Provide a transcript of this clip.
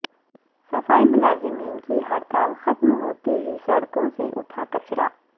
صفائی ملازمین کی ہڑتال ختم ہوتے ہی سڑکو ں سے اٹھا کچڑا